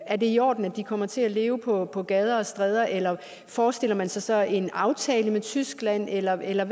er det i orden at de kommer til at leve på på gader og stræder eller forestiller man sig så en aftale med tyskland eller eller